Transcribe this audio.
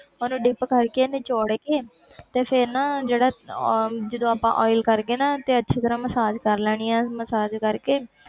ਉਹਨੂੰ dip ਕਰਕੇ ਨਚੌੜ ਕੇ ਤੇ ਫਿਰ ਨਾ ਜਿਹੜਾ ਅਹ ਜਦੋਂ ਆਪਾਂ oil ਕਰਕੇ ਨਾ ਤੇ ਅੱਛੀ ਤਰ੍ਹਾਂ ਮਸਾਜ ਕਰ ਲੈਣੀ ਆਂ ਮਸਾਜ ਕਰਕੇ